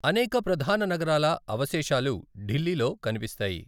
అనేక ప్రధాన నగరాల అవశేషాలు ఢిల్లీలో కనిపిస్తాయి.